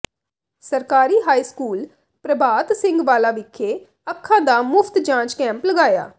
ਸਰਕਾਰੀ high school Prabhat Singh Wala ਵਿਖੇ ਅੱਖਾਂ ਦਾ ਮੁਫਤ ਜਾਂਚ ਕੈਂਪ ਲਗਾਇਆ